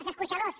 els escorxadors